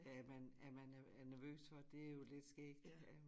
Af at man at man er nervøs for det jo lidt skægt ikke at